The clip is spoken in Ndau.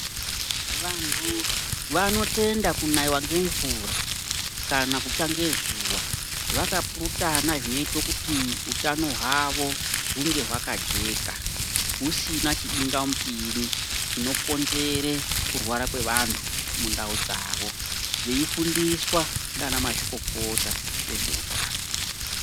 Vantu vanotenda kunayiwa ngemvura kana kutsva ngezuva vakapurutana zvinoite kuti utano hwavo hunge hwakajeka husina chibingamupinyi chinokonzere kurwara kwevantu mundau dzawo veifundiswa ndiana mazvikokota vezveutano.